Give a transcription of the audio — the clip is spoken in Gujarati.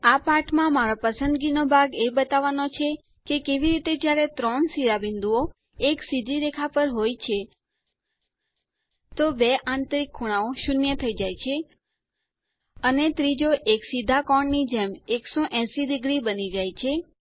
આ પાઠમાં મારો પસંદગી નો ભાગ એ બતાવવાનો છે કે કેવી રીતે જ્યારે ત્રણ શિરોબિંદુઓ એક સીધી રેખા પર હોય છે તો બે આંતરિક ખૂણાઓ શૂન્ય થઇ જાય છે અને ત્રીજો એક સીધા કોણ ની જેમ 180 ડિગ્રી બની જાય છે